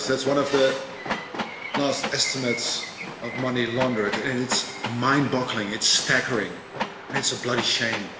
That's one of the latest estimates of money laundering. It's mind-boggling, it's staggering and it's a bloody shame.